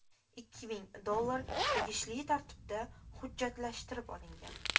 Ikki ming dollar tegishli tartibda hujjatlashtirib olingan.